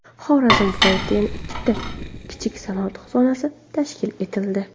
Xorazm viloyatida yana ikkita kichik sanoat zonasi tashkil etildi.